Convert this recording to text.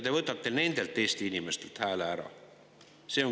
Te võtate nendelt Eesti inimestelt hääle ära.